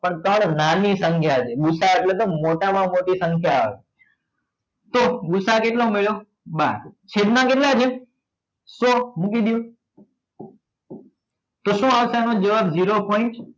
અન તાણે નાની સંખ્યા છે ભુસા એટલે મોટામાં મોટી સંખ્યા આવે તો ભુસા કેટલો મળ્યો બાર છેદમાં કેટલા છે તો મૂકી દો તો શું આવશે આનો જવાબ zero point